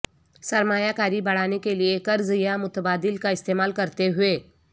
سرمایہ کاری بڑھانے کے لئے قرض یا متبادل کا استعمال کرتے ہوئے